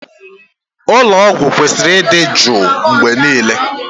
Ụlọ ọgwụ kwesịrị ịdị jụụ mgbe niile